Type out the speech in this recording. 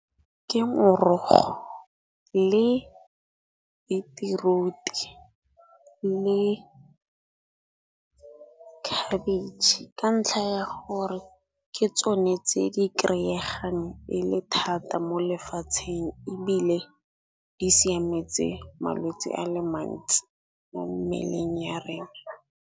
Ke morogo le beetroot-e le cabbage, ka ntlha ya gore ke tsone tse di-kry-eyegang e le thata mo lefatsheng. Ebile di siametse malwetsi a le mantsi mo mmeleng ya rena.